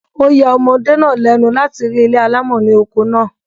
Ó ya omọdé náà lẹ́nu láti rí ilé alámọ̀ ni oko náà